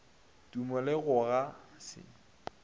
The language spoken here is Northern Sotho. tumo le go ga se